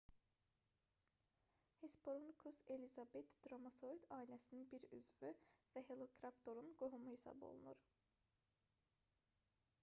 hesperonychus elizabethae dromaeosaurid ailəsinin bir üzvü və velociraptor-un qohumu hesab olunur